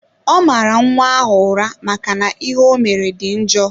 Ọ mara nwa ahụ ụra maka na ihe omere dị njọ.